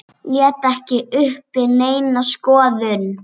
Lét ekki uppi neina skoðun.